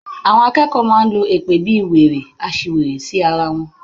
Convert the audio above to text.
Àwọn akẹ́kọ̀ọ́ máa ń lo èpè bíi, wèrè, aṣiwèrè sí ara wọn.